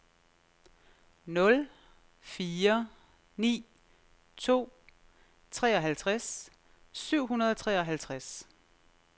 nul fire ni to treoghalvtreds syv hundrede og treoghalvtreds